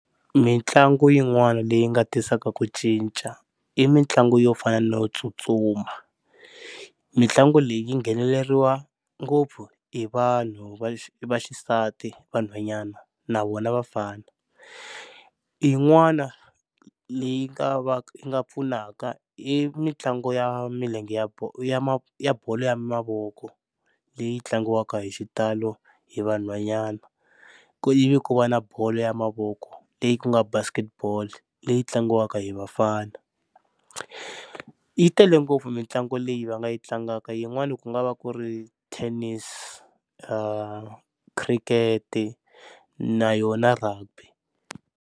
Mitlangu yin'wana leyi nga tisaka ku cinca i mitlangu yo fana no tsutsuma. Mitlangu leyi yi ngheneleriwe ngopfu hi vanhu va vaxisati vanhwanyana na vona vafana. Yin'wana leyi nga va yi nga pfunaka i mitlangu ya milenge ya ya ya bolo ya mavoko leyi tlangiwaka hi xitalo hi vanhwanyana, ivi ku va na bolo ya mavoko leyi ku nga Basketball leyi tlangiwaka hi vafana. Yi tele ngopfu mitlangu leyi va nga yi tlangaka yin'wani ku nga va ku ri Tennis, Cricket na yona Rugby.